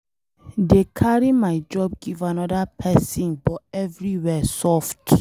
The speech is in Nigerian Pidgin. Dey carry my job give another person, but everywhere soft.